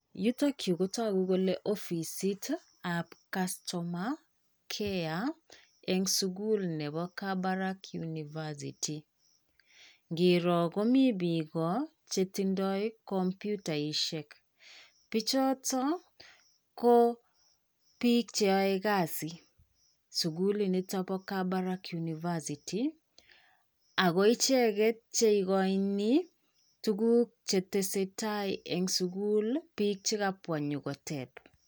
Yutok yu ko togu kole ofisitab Customer care eng' sugul nepoo Kabarak University. Ngiroo komi biik chetindoi kompyutaishek. Bichoto, ko biik cheyoe kasi sugul nito po Kabarak University. Ago icheget cheikoini tuguk chetesetai eng' sugul biik chekapwa nyokotep.